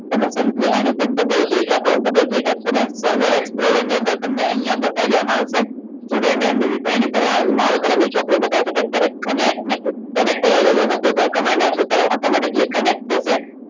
તમે simply આની પર double click આપો double click પહેલા server explorer ની અંદર તમને અહિયાં બતાવી દેવામાં આવશે student mvs એની પર આ લાલ color ની ચોકડી બતાવશે કે અત્યારે connect નથી connect નહિ હોય તો એની પહેલા command આપશે